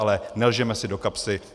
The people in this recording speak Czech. Ale nelžeme si do kapsy.